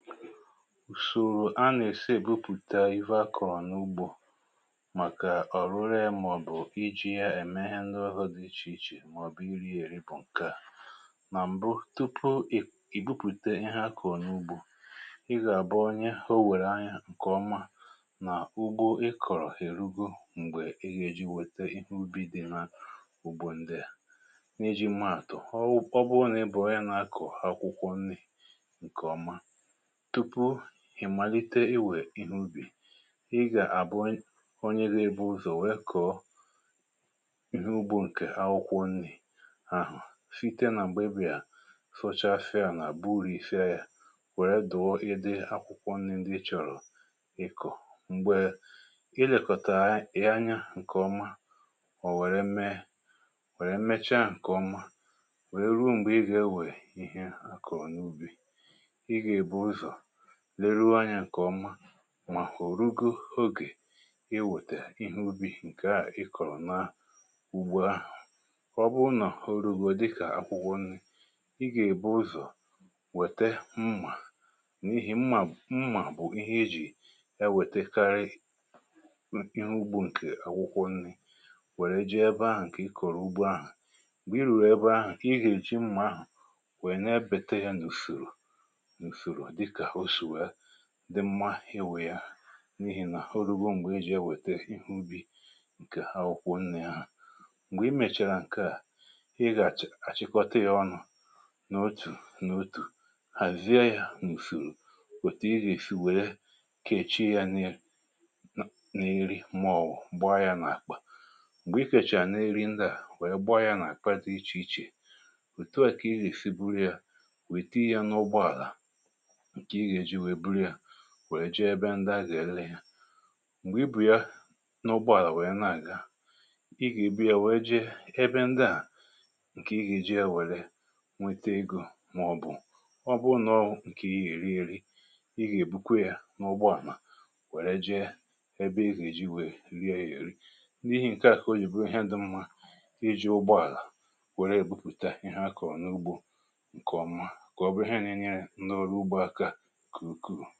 Ùsòrò a nà-èsi èbupùta ihe akọ̀rọ̀ n’ugbȯ, màkà ọ̀rụrụ e, màọ̀bụ̀ iji̇ ya ème ihe ndị ọhọ̇ dị iche iche, màọ̀bụ̀ iri̇ èrịpụ̀ nkè à. Nà m̀bụ, tupu ì ibupùte ihe akọ̀rọ̀ n’ugbȯ, ị gà-àbụ onye ha o wèrè anyȧ ǹkè ọma nà ugbȯ ị kọ̀rọ̀ èrugo m̀gbè ịyėji wète ihe ubi dị̇ na ugbȯ ndèa. N’iji maàtụ̀, ọ bụrụ nà ị bụ̀ onye nà-akọ̀ akwụkwọ nri ǹkè ọma, tupu ị̀ màlite iwè ihe ubì, i gà-àbụ onye gȧ-ėbù ụzọ̀ nwee kọ̀ọ ihe ugbu̇ ǹkè akwụkwọ nni̇ ahụ̀, site nà m̀gbè ibè à fọcha afịȧ, nà àba uru̇ ife yȧ, wère dụ̀ọ ịdị akwụkwọ nni ndị ị chọ̀rọ̀ ikù. M̀gbè i lèkọ̀ta ì anya ǹkè ọma, mà ọ̀ wère mee, wèrè mmecha ǹkè ọma, wèe ruo m̀gbè i gà-ewè ihe akọ̀rọ̀ n’ubì. I ga ebuzo leruoȧ anyà kọ̀ọma, mà hụ̀rụgo ogè iwètè ihe ubi̇ ǹkè a ị kọ̀rọ̀ na ugbȯ ahụ̀. Ọ bụ nà orugu̇ dịkà akwụkwọ nni̇, ị gà-èbu ụzọ̀ wète mmà, n’ihì mma mmà bụ̀ ihe ejì ya wètekarị ihe ugbȯ nkè akwụkwọ nni̇ wère ji ebe ahụ̀, ǹkè i kọ̀rọ̀ ugbȯ ahụ̀. Mgbe ì rùrù ebe ahụ̀, ǹkè i hè ji mmà ahụ̀, wèe n'ebète ya n’ùsòrò usoro dịka ọ si wee dị mmȧ iwè ya, n’ihì nà horuugo m̀gbè ijì ewète ihe ubi̇ ǹkè akwụkwọ nnė hȧ. M̀gbè i mèchàrà ǹke à, ị gà-àchịkọta yȧ ọnụ̇ n’otù n’otù, hàzie yȧ na ùsùrù, òtù i gà èsi wèe kèchi yȧ n’iri, màọ̀wụ̀ gbaa yȧ nà-àkpà. M̀gbè i kèchà nà-iri ndià, wèe gbaa yȧ nà-àkpata di iche iche. Otù à kà ị gà èsi buru yȧ, wèe tinye ya na ụgbọ àlà, nke ị ga eji wee bụrụ ya wèe ji ebe ndị a gà-ele ya. M̀gbè i bù ya n’ụgbọ àlà wee nà-àga, i gà-ìbia, wèe ji ebe ndị a, ǹkè ihi ji ewère, nwete igȯ, màọ̀bụ̀ ọ bụ nọọ nkè I ha eri èri, i gà-ìbukwa ya n’ụgbọ ala, wère ji ebe ị gà-èji wèe rie yȧ erì. N’ihì ǹke à kà o yìbụrụ ihe dị mmȧ, i ji ụgbọ àlà wère èbupùta ihe akọ̀ n’ugbȯ ǹkè ọ̀ma, kà ọ bụrụ ihe nà-enyere ndị olu ugbọ aka nke ǹkù.